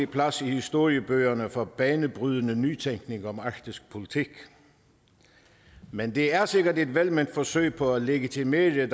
plads i historiebøgerne for banebrydende nytænkning om arktisk politik men det er sikkert et velment forsøg på at legitimere